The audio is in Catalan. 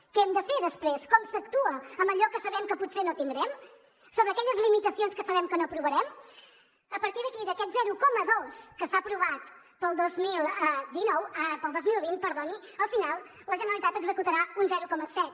què hem de fer després com s’actua amb allò que sabem que potser no tindrem sobre aquelles limitacions que sabem que no aprovarem a partir d’aquí d’aquest zero coma dos que s’ha aprovat per al dos mil vint al final la generalitat n’executarà un zero coma set